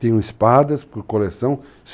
Tenho espadas por coleção.